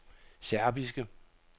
serbiske